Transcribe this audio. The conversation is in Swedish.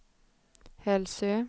Hälsö